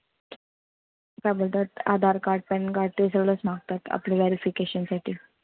काय बोलतात Aadhaar card, pan card ते सगळंच मागतात. आपलं verification साठी.